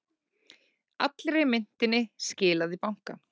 Allri myntinni skilað í banka